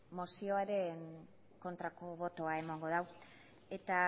mozioaren kontrako botoa emango du eta